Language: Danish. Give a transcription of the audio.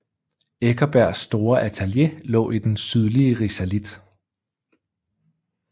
Eckersbergs store atelier lå i den sydlige risalit